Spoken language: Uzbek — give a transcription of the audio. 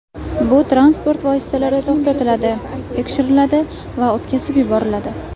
Bu transport vositalari to‘xtatiladi, tekshiriladi va o‘tkazib yuboriladi.